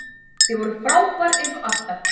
Þið voruð frábær eins og alltaf!